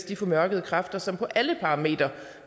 de formørkede kræfter som på alle parametre